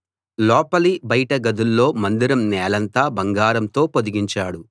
లోపలి బయట గదుల్లో మందిరం నేలంతా బంగారంతో పొదిగించాడు